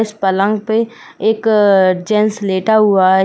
इस पलग पे एक अ जेंट्स लेटा हुआ है।